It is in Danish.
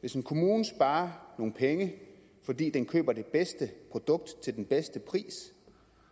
hvis en kommune sparer nogle penge fordi den køber det bedste produkt til den bedste pris